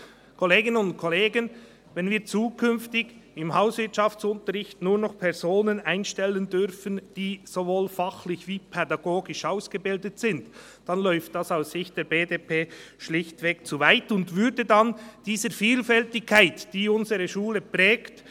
Und wenn wir zukünftig im Hauswirtschaftsunterricht nur noch Personen einstellen dürfen, die sowohl fachlich wie pädagogisch ausgebildet sind, dann geht das aus Sicht der BDP schlichtweg zu weit und würde dieser Vielfältigkeit entgegenwirken, die unsere Schule prägt.